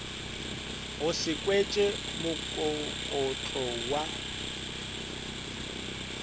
o se kweše mokokotlo wa